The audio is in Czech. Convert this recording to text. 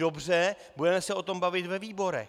Dobře, budeme se o tom bavit ve výborech.